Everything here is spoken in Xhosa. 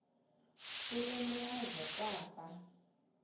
kule meazwe kwafa